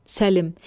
Səlim!